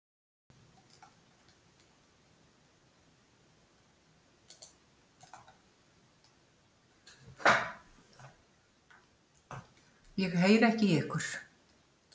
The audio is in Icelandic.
Ég heyri ekki í ykkur.